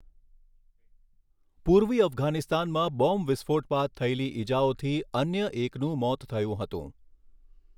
પૂર્વી અફઘાનિસ્તાનમાં બોમ્બ વિસ્ફોટ બાદ થયેલી ઈજાઓથી અન્ય એકનું મોત થયું હતું.